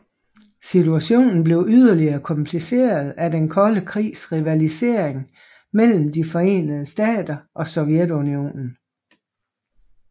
Situationen blev yderligere kompliceret af Den kolde krigs rivalisering mellem De forenede Stater og Sovjetunionen